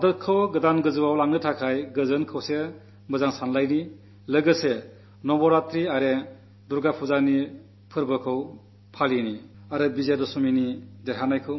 രാഷ്ട്രത്തെ കൂടുതൽ ഉയരങ്ങിലെത്തിക്കാൻ ശാന്തിയും ഐക്യവും സന്മനോഭാവവും ചേരുന്ന നവരാത്രിയും ദുർഗ്ഗാപൂജയും ആഘോഷിക്കാം വിജയദശമിയുടെ വിജയാഘോഷം നടത്താം